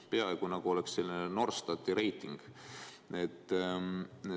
Peaaegu nagu oleks Norstati reiting.